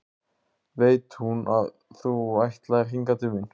Veit hún að þú ætlaðir hingað til mín?